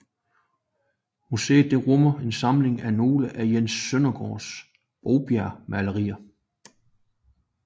Museet rummer en samling af nogle af Jens Søndergaards Bovbjergmalerier